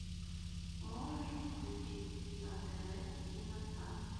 можешь включить на тв киносад